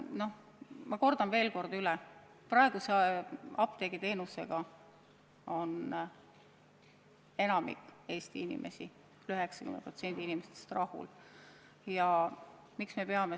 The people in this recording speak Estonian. Aga ma kordan veel kord üle, et praeguse apteegiteenusega on enamik Eesti inimesi, 90% inimestest rahul.